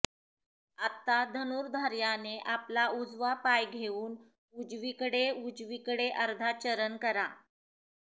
आत्ता धनुर्धार्याने आपला उजवा पाय घेऊन उजवीकडे उजवीकडे अर्धा चरण करा